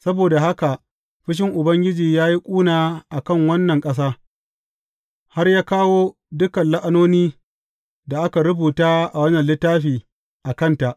Saboda haka fushin Ubangiji ya yi ƙuna a kan wannan ƙasa, har ya kawo dukan la’anoni da aka rubuta a wannan littafi a kanta.